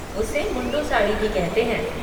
उसे मुंडू साड़ी भी कहते हैं।